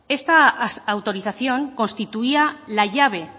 esta autorización constituía la llave